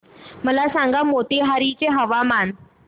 मला सांगा मोतीहारी चे हवामान